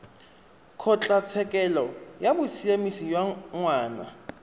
kgotlatshekelo ya bosiamisi ya ngwana